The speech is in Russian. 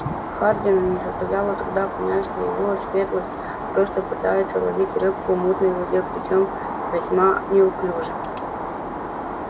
хардину не составляло труда понять что его светлость просто пытается ловить рыбку в мутной воде причём весьма неуклюже